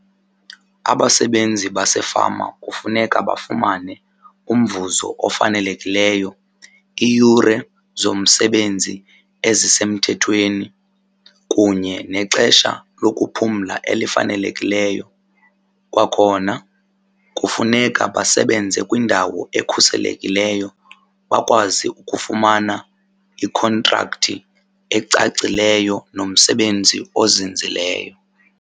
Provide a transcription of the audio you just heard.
Abasebenzi basefama kufuneka bafumane umvuzo ofanelekileyo, iiyure zomsebenzi ezisemthethweni kunye nexesha lokuphumla elifanelekileyo. Kwakhona kufuneka basebenze kwindawo ekhuselekileyo bakwazi ukufumana ikhontrakthi ecacileyo nomsebenzi ozinzileyo.